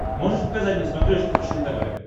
можешь показать на смотрешке фэшен тв